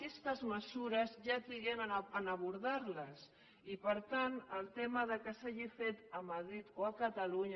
aquestes mesures ja triguem en el fet d’abordar les i per tant el tema que s’hagi fet a madrid o a catalunya